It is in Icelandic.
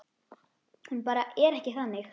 Hún bara er ekki þannig.